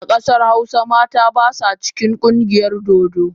A kasar hausa mata ba sa cikin kungiyar dodo.